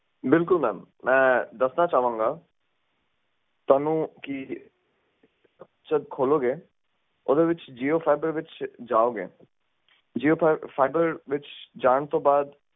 ਬਿਲਕੁਲ ਮੈਮ ਮੈਂ ਦੱਸਣਾ ਚਾਵਾਂਗਾ ਤੁਹਾਨੂੰ ਕੀ ਜਦ ਖੋਲੋਗੇ ਓਦੇ ਵਿੱਚ ਜੀਓ ਫਾਈਬਰ ਵਿੱਚ ਜਾਓਗੇ ਜੀਓ ਫਾਈਬਰ ਵਿੱਚ ਜਾਣ ਤੋਂ ਬਾਅਦ